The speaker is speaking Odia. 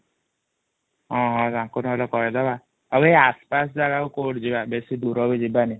ହଁ ହଁ ତାଙ୍କୁ ନହଲେ କହିଦବା ଆଉ ଏ ଆସ ପାସ ଜାଗାକୁ କୋଉଠି ଯିବା ବେଶୀ ଦୂରକୁ ଯିବାନି |